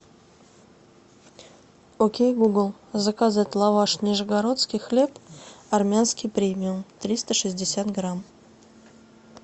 окей гугл заказать лаваш нижегородский хлеб армянский премиум триста шестьдесят грамм